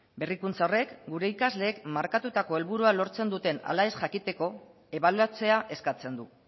berrikuntza horrek gure ikasleek markatutako helburua lortzen duten ala ez jakiteko ebaluatzea eskatzen du